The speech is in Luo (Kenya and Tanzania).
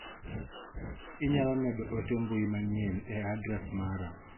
Inyalo medo ote mbui manyien e adres mara.